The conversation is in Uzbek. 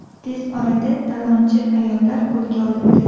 Tez orada talonchi ayollar qo‘lga olindi.